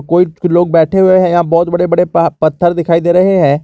कोई लोग बैठे हुए हैं यहां पे बहोत बड़े बड़े पह पत्थर दिखाई दे रहे हैं।